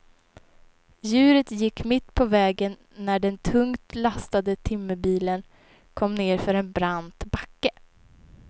Djuret gick mitt på vägen när den tungt lastade timmerbilen kom nedför en brant backe.